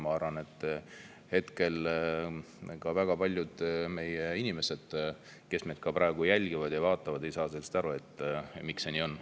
Ma arvan, et ka väga paljud inimesed, kes praegu jälgivad ja meid vaatavad, ei saa aru, miks see nii on.